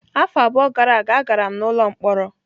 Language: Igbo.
Afọ abụọ gara aga, agara m n'ụlọ mkpọrọ.